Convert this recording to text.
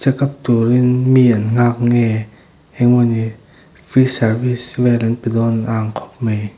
tur in mi an nghak nge eng emaw ni free service vel an pe dawn a ang khawp mai.